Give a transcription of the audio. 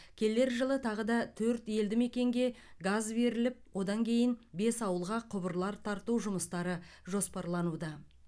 келер жылы тағы төрт елдімекенге газ беріліп одан кейін бес ауылға құбырлар тарту жұмыстары жоспарлануда